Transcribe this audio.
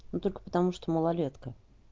ну только потому что малолетка